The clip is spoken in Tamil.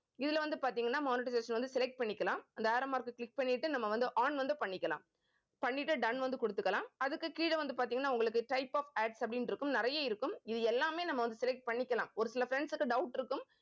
இதுல வந்து பார்த்தீங்கன்னா monetization வந்து select பண்ணிக்கலாம். அந்த arrow mark அ click பண்ணிட்டு நம்ம வந்து on வந்து பண்ணிக்கலாம். பண்ணிட்டு done வந்து கொடுத்துக்கலாம் அதுக்கு கீழே வந்து பார்த்தீங்கன்னா type of Ads அப்படின்னு இருக்கும் நிறைய இருக்கும். இது எல்லாமே நம்ம வந்து select பண்ணிக்கலாம் ஒரு சில friends க்கு doubt இருக்கும்